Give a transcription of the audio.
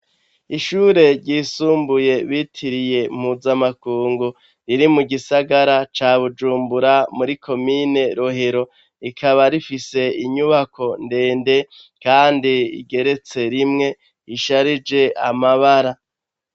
Ishure ryisumbuye bitiriye mpuzamakungu riri mu gisagara ca bujumbura muri komine rohero rikaba rifise inyubako ndende, kandi igeretse rimwe risharije amabara.